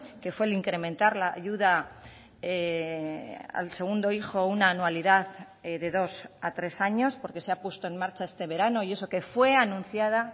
que fue el incrementar la ayuda al segundo hijo una anualidad de dos a tres años porque se ha puesto en marcha este verano y eso que fue anunciada